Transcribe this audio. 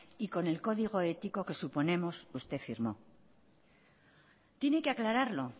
y con el código ético que suponemos usted firmó tiene que aclararlo